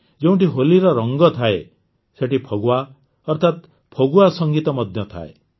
ଯେଉଁଠି ହୋଲିର ରଙ୍ଗ ଥାଏ ସେଇଠି ଫଗୱା ଅର୍ଥାତ ଫଗୁଆ ସଂଗୀତ ମଧ୍ୟ ଥାଏ